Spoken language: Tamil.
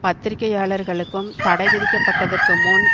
பத்திரிக்கையாளர்களுக்கும் தடை விதிக்கப்பட்டதற்கு முன்